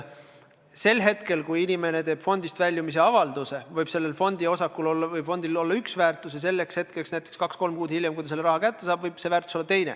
Sel hetkel, kui inimene teeb fondist väljumise avalduse, võib fondi osakul või fondil olla üks väärtus, ja sel hetkel – näiteks kaks-kolm kuud hiljem –, kui ta selle raha kätte saab, võib väärtus olla teine.